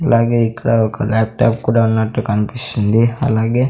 అలాగే ఇక్కడ ఒక ల్యాప్ట్యాప్ కూడా ఉన్నట్టు కన్పిస్తుంది. అలాగే --